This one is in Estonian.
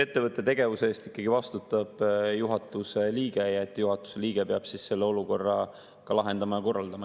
Ettevõtte tegevuse eest vastutab juhatuse liige ja juhatuse liige peab selle olukorra lahendama.